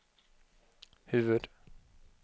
huvud